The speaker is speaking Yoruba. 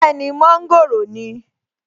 Bẹ́ẹ̀ni, mọ́ńgòrò ni